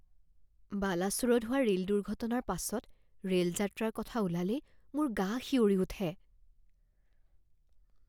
বালাছোৰত হোৱা ৰেল দুৰ্ঘটনাৰ পাছত ৰেল যাত্ৰাৰ কথা ওলালেই মোৰ গা শিয়ৰি উঠে।